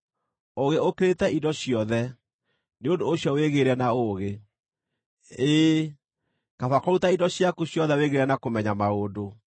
Ũũgĩ ũkĩrĩte indo ciothe; nĩ ũndũ ũcio wĩgĩĩre na ũũgĩ. Ĩĩ, kaba kũruta indo ciaku ciothe wĩgĩĩre na kũmenya maũndũ.